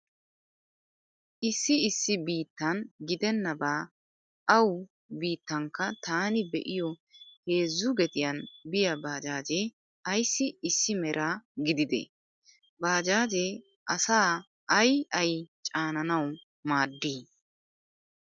Issi issi biittan gidennabaa awu biittankka taani be'iyo heezzu gediyan biya baajaajee ayssi issi mera gididee? Baajaajee asaa ay ay caananawu maaddii?